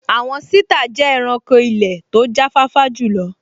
Àwọn sítà jẹ́ ẹranko ilẹ̀ tó jáfáfá jùlọ